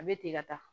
A bɛ ten ka taa